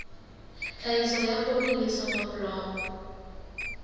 tlhahiso ya poone le soneblomo